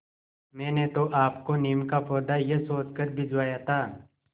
मैंने तो आपको नीम का पौधा यह सोचकर भिजवाया था